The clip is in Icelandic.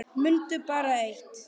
Mundu bara eitt.